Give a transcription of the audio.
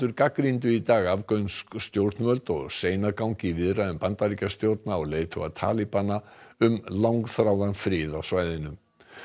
gagnrýndu í dag afgönsk stjórnvöld og seinagang í viðræðum Bandaríkjastjórnar og leiðtoga um langþráðan frið á svæðinu